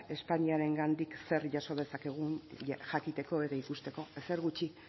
espainiarengandik zer jaso dezakegun jakiteko eta ikusteko ezer gutxi